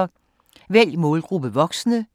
Vælg målgruppe: voksne